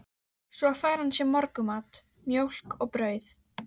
Svo fær hann sér morgunmat, mjólk og brauð.